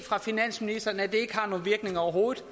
det overhovedet